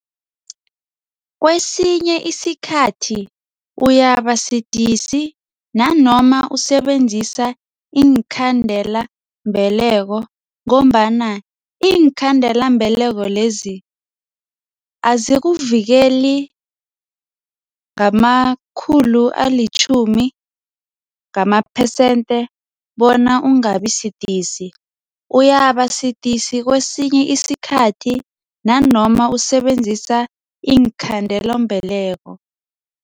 Kwesinye isikhathi uyabasidisi nanoma usebenzisa iinkhandelambeleko ngombana iinkhandelambeleko lezi azikuvikeli ngamakhulu alitjhumi ngamaphesende bona ungabi sidisi uyabasidisi kwesinye isikhathi nanoma usebenzisa iinkhandelambeleko.